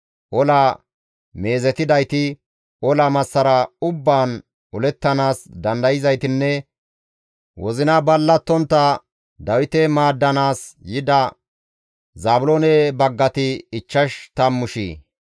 Ola meezetidayti, ola massara ubbaan olettanaas dandayzaytinne wozinay ballatontta Dawite maaddanaas yida Zaabiloone baggati ichchash tammu shiya.